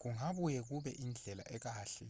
kungabuye kube indlela ekahle